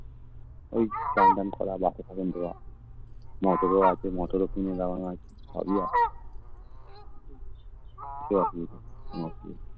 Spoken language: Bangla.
এই স্নান টান করা Bathroom ধোয়া Motor ও আছে Motor ও কিনে দেওয়া আছে সবই আছে